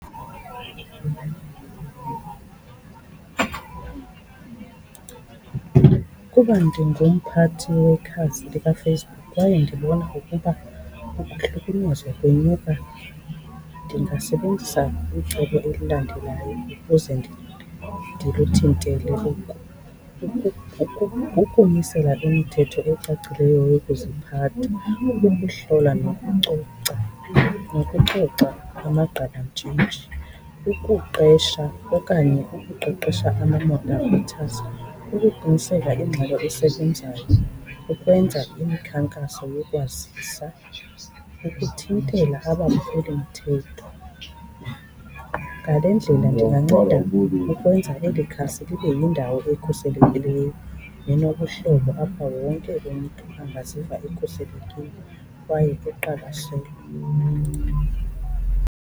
Ukuba ndingumphathi wekhasi likaFacebook kwaye ndibona ukuba ukuhlukunyezwa kwenyuka, ndingasebenzisa icebo elilandelayo ukuze ndikuthintele oku. Ukumisela imithetho ecacileyo yokuziphatha, ukuhlola nokucoca, nokucoca amagqabantshintshi, ukuqesha okanye ukuqeqesha ama-moderators, ukuqiniseka ingxelo esebenzayo ukwenza imikhankaso yokwazisa, ukuthintela abaphulimthetho. Ngale ndlela ndinganceda ukwenza eli khasi libe yindawo ekhuselekileyo nenobuhlobo apha wonke umntu angaziva ekhuselekile kwaye eqwalaselwe.